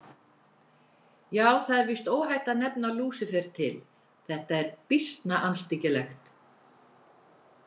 Já, það er víst óhætt að nefna Lúsífer til, þetta er býsna andstyggilegt.